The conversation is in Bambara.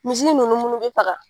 Misi nunnu be faga